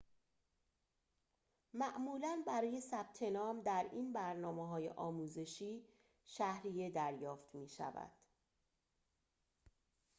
معمولاً برای ثبت‌نام در این برنامه‌های آموزشی شهریه دریافت می‌شود